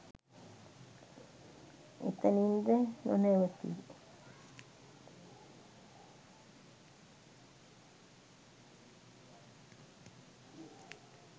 එතැනින්ද නොතැවතී